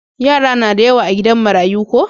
Yara na da da yawa a gidan marayu ko?